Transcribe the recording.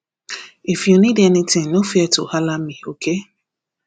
if you need anything no fear to halla me okay